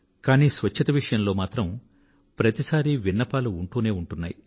కానీ స్వచ్ఛత విషయంలో మాత్రం ప్రతి సారీ విన్నపాలు ఉంటూనే ఉంటున్నాయి